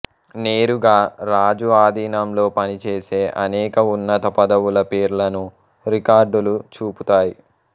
నేరుగా రాజు అధీనంలో పనిచేసే అనేక ఉన్నత పదవుల పేర్లను రికార్డులు చూపుతాయి